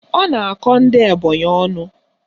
Ọ na-akọ ndị Ebonyị ọnụ.